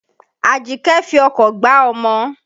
Àjíkẹ́ fi ọkọ̀ gbá ọmọ.